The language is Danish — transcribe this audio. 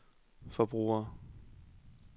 forbrugere